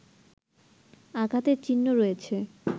আঘাতের চিহ্ন রয়েছে